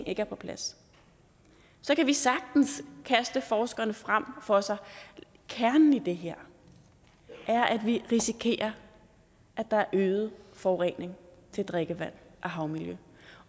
ikke er på plads så kan vi sagtens kaste forskerne frem for os kernen i det her er at vi risikerer at der er øget forurening af drikkevand og havmiljø